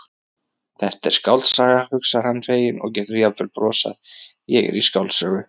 Þetta er skáldsaga, hugsar hann feginn og getur jafnvel brosað, ég er í skáldsögu.